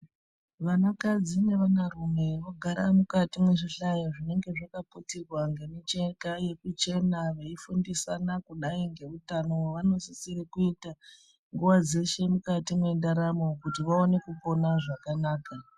Vanakadzi nevanarume vogara mukati mwezvihlayo zvinenge zvakaputirwa ngemicheka yekuchena veifundisana kudayi ngeutano hwevanosisire kuita nguwa dzeshe mukati mwendaramo kuti vaone kupona zvakanaka.